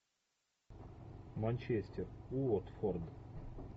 манчестер уотфорд